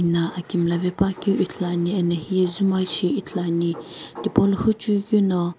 Ino aki mlla vepuakeu ithuluani ena hiye zumoi keu shi ithuluani tipaulo huchui keu no.